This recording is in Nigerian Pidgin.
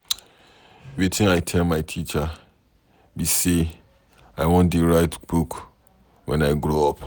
Wetin I tell my teacher be say I wan dey write book wen I grow up.